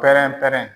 Pɛrɛn pɛrɛn